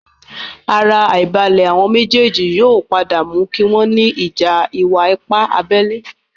Ara àìbalẹ̀ àwon méjèèjì yóò padà mú kí wọ́n ní ìjà ìwà-ipá abẹ́lé